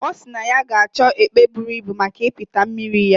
O si na ya ga acho epe buru Ibu maka ipata mmiri ya